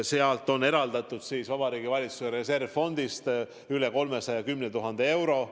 Selleks on eraldatud Vabariigi Valitsuse reservfondist üle 310 000 euro.